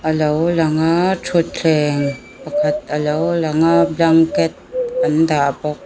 alo lang a thuthleng pakhat alo lang a blanket an dah bawk.